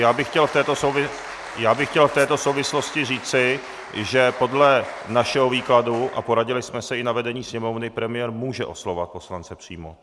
Já bych chtěl v této souvislosti říci, že podle našeho výkladu, a poradili jsme se i na vedení Sněmovny, premiér může oslovovat poslance přímo.